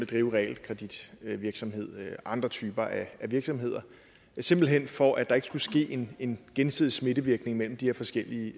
drive realkreditvirksomhed og andre typer af virksomhed simpelt hen for at der ikke skulle ske en gensidig smittevirkning mellem de her forskellige